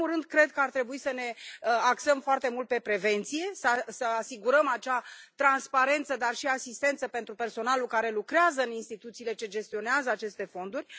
În primul rând, cred că ar trebui să ne axăm foarte mult pe prevenție, să asigurăm acea transparență dar și asistență pentru personalul care lucrează în instituțiile ce gestionează aceste fonduri.